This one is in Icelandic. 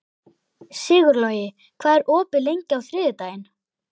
Sigurlogi, hvað er opið lengi á þriðjudaginn?